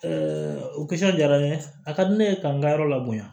o diyara n ye a ka di ne ye k'an ka yɔrɔ labɛn